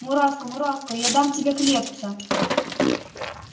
муравка муравка я дам тебе хлебца